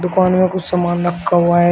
Phone में कुछ सामान रखा हुआ है।